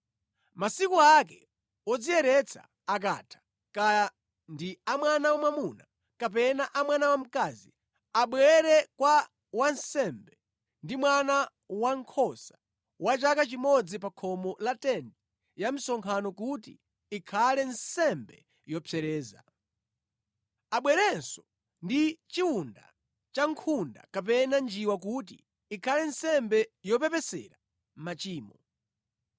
“ ‘Masiku ake wodziyeretsa akatha, kaya ndi a mwana wamwamuna kapena a mwana wamkazi, abwere kwa wansembe ndi mwana wankhosa wa chaka chimodzi pa khomo la tenti ya msonkhano kuti ikhale nsembe yopsereza. Abwerenso ndi chiwunda cha nkhunda kapena njiwa kuti ikhale nsembe yopepesera machimo.